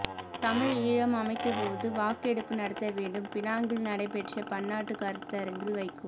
தமிழ் ஈழம் அமைக்கப் பொது வாக்கெடுப்பு நடத்த வேண்டும் பினாங்கில் நடைபெற்ற பன்னாட்டுக் கருத்தரங்கில் வைகோ